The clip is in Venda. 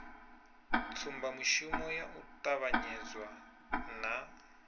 tsumbamushumo ya u ṱavhanyezwa na